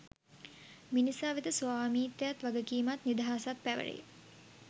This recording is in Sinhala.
මිනිසා වෙත ස්වාමිත්වයත් වගකීමත් නිදහසත් පැවැරේ